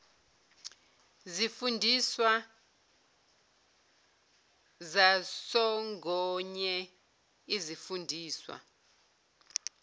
zifundiswa zasongoye izifundiswa